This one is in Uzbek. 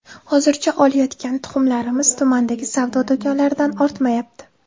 Hozircha olayotgan tuxumlarimiz tumandagi savdo do‘konlaridan ortmayapti.